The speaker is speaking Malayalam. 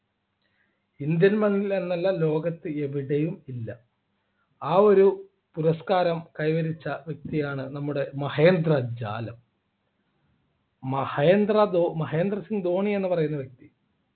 indian മണ്ണിൽ എന്നല്ല ലോകത്ത് എവിടെയും ഇല്ല ആ ഒരു പുരസ്കാരം കൈവരിച്ച വ്യക്തിയാണ് നമ്മുടെ മഹേന്ദ്രജാലം മഹേദ്ര ധോ മഹേന്ദ്ര സിംഗ് ധോണി എന്ന് പറയുന്ന വ്യക്തി